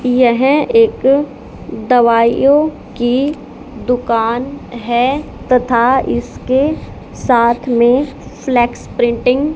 यह एक दवाइयों की दुकान है तथा इसके साथ में फ्लेक्स प्रिंटिंग --